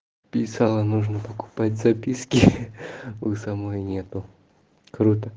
писала нужно покупать записки ха-ха у самой нет круто